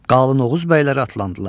Qalın Oğuz bəyləri atlandılar.